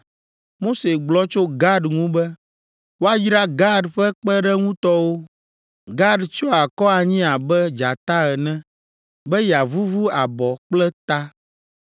Mose gblɔ tso Gad ŋu be, “Woayra Gad ƒe kpeɖeŋutɔwo, Gad tsyɔ akɔ anyi abe dzata ene be yeavuvu abɔ kple ta.